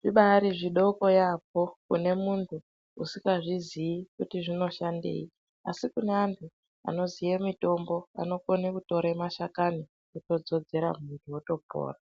zvibaari zvidoko yaambo kune muntu usikazviziyi kuti zvinoshandei asi kune antu anoziye mitombo anokone kutore mashakani otodzodzera muviri otopona.